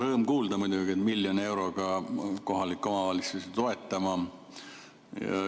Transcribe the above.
Rõõm kuulda muidugi, et hakkate miljoni euroga kohalikke omavalitsusi toetama.